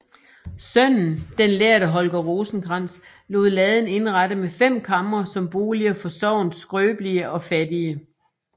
Sønnen den lærde Holger Rosenkrantz lod laden indrette med fem kamre som boliger for sognets skrøbelige og fattige